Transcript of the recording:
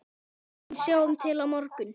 En sjáum til á morgun!